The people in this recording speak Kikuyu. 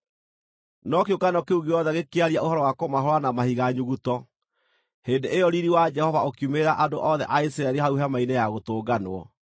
No kĩũngano kĩu gĩothe gĩkĩaria ũhoro wa kũmahũũra na mahiga nyuguto. Hĩndĩ ĩyo riiri wa Jehova ũkiumĩrĩra andũ othe a Isiraeli hau Hema-inĩ ya Gũtũnganwo.